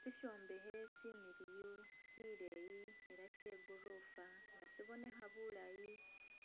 Shishombekhe shimiliyu shileyi ela shegorofa nga sibonekha bulayi